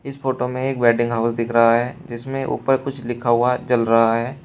इस फोटो में एक वेडिंग हाउस दिख रहा है जिसमें ऊपर कुछ लिखा हुआ जल रहा है।